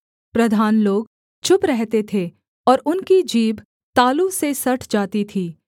प्रधान लोग चुप रहते थे और उनकी जीभ तालू से सट जाती थी